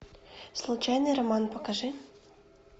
случайный роман покажи